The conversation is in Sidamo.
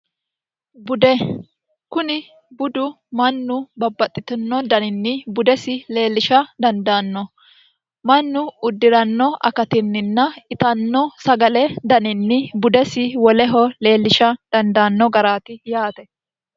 bude kuni budu mannu babbaxxitino daninni budesi leellisha dandaanno mannu uddi'ranno akatinninna itanno sagale daninni budesi woleho leellisha dandaanno garaati yaate